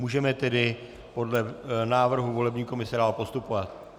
Můžeme tedy podle návrhu volební komise dál postupovat.